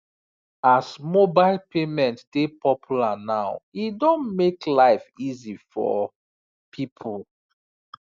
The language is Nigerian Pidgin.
as mobile payment dey popular now e don make life easy for people